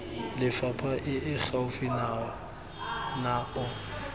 lefapha e e gaufi nao